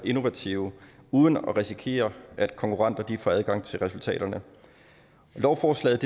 innovative uden at risikere at konkurrenter får adgang til resultaterne lovforslaget